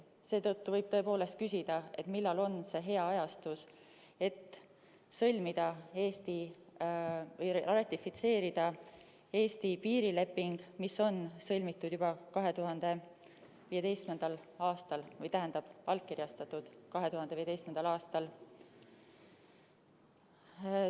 Seetõttu võib küsida, millal on hea aeg ratifitseerida Eesti-Venemaa piirileping, mis on sõlmitud juba 2015. aastal või õigemini allkirjastatud 2015. aastal.